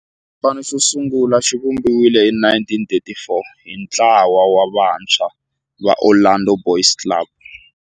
Xipano xosungula xivumbiwile hi 1934 hi ntlawa wa vantshwa va Orlando Boys Club.